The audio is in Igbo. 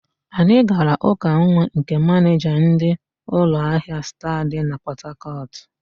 Anyị gara ụka nwa nke manịja ndị ụlọahịa Star dị na Pọtakọtụ.